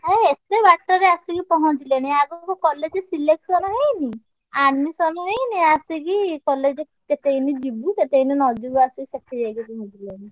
ଆରେ ଏତେ ବାଟ ରେ ଆସିକି ପହଁଞ୍ଚିଲେଣି ଆଗୁକୁ college selection ହେଇନି, admission ହେଇନି ଆସିକି college କେତେ ଦିନି ଯିବୁ କେତେ ଦିନି ନ ଯିବୁ ଆସିକି ସେଠି ଯାଇକି ଉଠିଲେଣି।